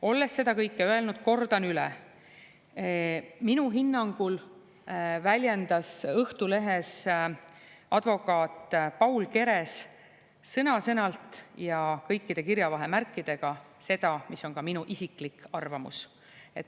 Olles seda kõike öelnud, kordan üle: minu hinnangul väljendas Õhtulehes advokaat Paul Keres sõna-sõnalt ja kõikide kirjavahemärkidega seda, mis on ka minu isiklik arvamus.